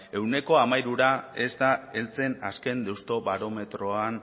ehuneko hamairura ez da heltzen azken deustobarometroan